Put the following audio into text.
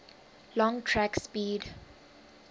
long track speed